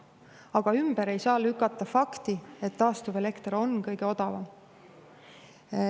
Aga ümber ei saa lükata fakti, et taastuvelekter on kõige odavam.